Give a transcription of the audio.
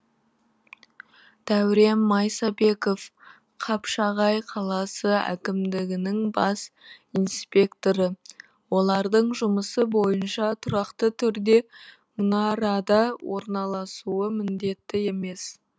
дәурен майсабеков қапшағай қаласы әкімдігінің бас инспекторы олардың жұмысы бойынша тұрақты түрде мұнарада орналасуы міндетті емес